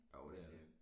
Jo det er det